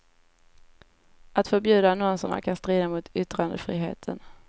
Att förbjuda annonserna kan strida mot yttrandefriheten.